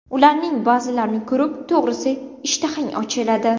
Ularning ba’zilarini ko‘rib, to‘g‘risi, ishtahang ochiladi.